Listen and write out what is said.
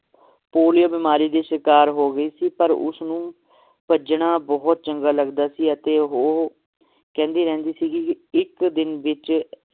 polio ਬਿਮਾਰੀ ਦੀ ਸ਼ਿਕਾਰ ਹੋ ਗਈ ਸੀ ਪਰ ਉਸਨੂੰ ਭੱਜਣਾ ਬਹੁਤ ਚੰਗਾ ਲੱਗਦਾ ਸੀ ਅਤੇ ਉਹ ਕਹਿੰਦੀ ਰਹਿੰਦੀ ਸੀਗੀ ਕਿ ਇਕ ਦਿਨ ਵਿਚ